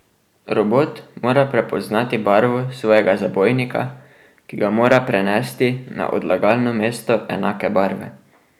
Robot mora prepoznati barvo svojega zabojnika, ki ga mora prenesti na odlagalno mesto enake barve.